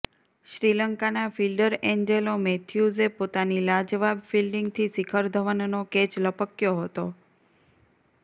શ્રીલંકાના fielder Angelo મૈથ્યૂઝે પોતાની લાજવાબ ફિલ્ડિંગથી શિખર ધવનનો કેચ લપક્યો હતો